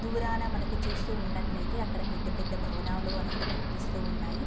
దూరాన మనకి చూస్తు ఉన్నట్లైతే అక్కడ పెద్దపెద్ద భవనాలు అనేవి కనిపిస్తూ ఉన్నాయి.